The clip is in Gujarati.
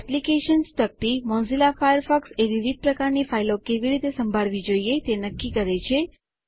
એપ્લિકેશન્સ તકતી મોઝીલા ફાયરફોક્સએ વિવિધ પ્રકારની ફાઈલો કેવી રીતે સંભાળવી જોઈએ તે નક્કી કરે છે